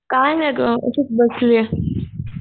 काय नाही गं. अशीच बसलीये.